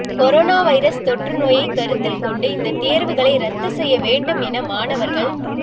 corona virus தொற்றுநோயைக் கருத்தில் கொண்டு இந்த தேர்வுகளை ரத்து செய்ய வேண்டும் என மாணவர்கள்